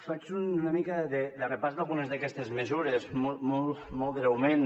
faig una mica de repàs d’algunes d’aquestes mesures molt breument